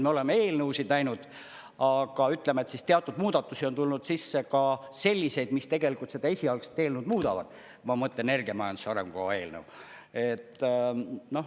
Me oleme eelnõusid näinud, aga ütleme, teatud muudatusi on tulnud sisse ka selliseid, mis tegelikult seda esialgset eelnõu muudavad, ma mõtlen energiamajanduse arengukava eelnõu.